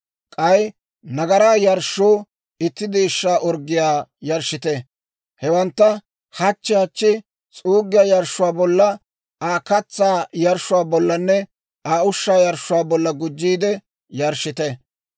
K'ay nagaraa yarshshoo itti deeshshaa orggiyaa yarshshite. Hewantta hachchi hachchi s'uuggiyaa yarshshuwaa bolla, Aa katsaa yarshshuwaa bollanne Aa ushshaa yarshshuwaa bolla gujjiide yarshshite.